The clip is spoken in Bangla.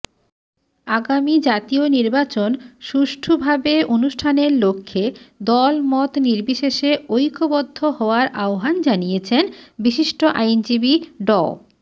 আগামী জাতীয় নির্বাচন সুষ্ঠুভাবে অনুষ্ঠানের লক্ষ্যে দলমত নির্বিশেষে ঐক্যবদ্ধ হওয়ার আহ্বান জানিয়েছেন বিশিষ্ট আইনজীবী ড